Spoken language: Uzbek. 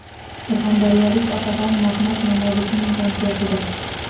Surxondaryolik otaxon Mahmud Nomozovning konsertida.